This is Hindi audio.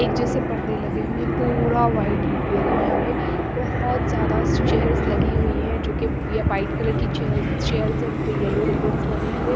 एक जैसे पर्दे लगे हुए हैं पूरा वाइट इंटीरियर है यहां पे बहुत सारा चेयर्स लगी हुई है जो कि वाइट कलर की चेयर्स चेयर्स है उन पे येलो रिबंस बनी हुए है।